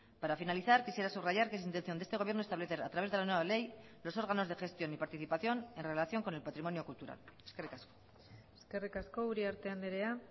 para finalizar quisiera subrayar que es intención de este gobierno establecer a través de la nueva ley los órganos de gestión y participación en relación con el patrimonio cultural eskerrik asko eskerrik asko uriarte andrea